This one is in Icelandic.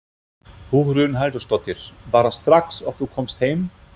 Hugrún Halldórsdóttir: Bara strax og þú komst heim?